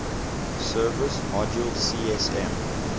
service module csm